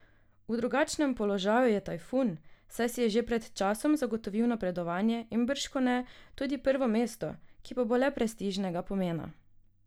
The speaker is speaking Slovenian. V drugačnem položaju je Tajfun, saj si je že pred časom zagotovil napredovanje in bržkone tudi prvo mesto, ki pa bo le prestižnega pomena.